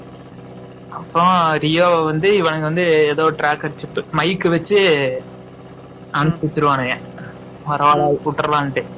அப்பறம் ரியோ வந்து இவங்க எதோ tracker mike வச்சு அனுப்பிச்சுருவானுங்க பரவாயில்ல விட்டுரலாம்னுட்டு